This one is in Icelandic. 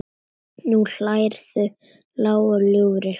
Nú hlærðu, lágum hrjúfum hlátri.